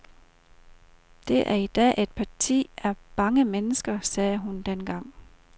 Det er i dag et parti af bange mennesker, sagde hun dengang.